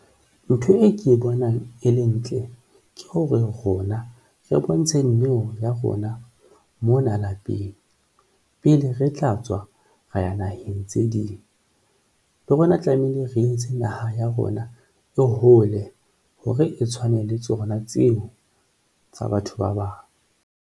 Ntho e ke bonang e le ntle ke hore rona re bontshe neo ya rona mona lapeng pele re tla tswa ra ya naheng tse ding le rona tlamehile re etse naha ya rona e hole hore e tshwane le tsona tseo tsa batho ba bang.